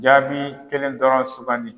Jaabi kelen dɔrɔn sugandi.